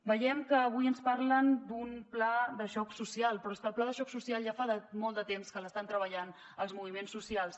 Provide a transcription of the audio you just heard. veiem que avui ens parlen d’un pla de xoc social però és que el pla de xoc social ja fa molt de temps que l’estan treballant els moviments socials